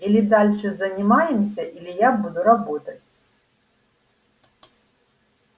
или дальше занимаемся или я буду работать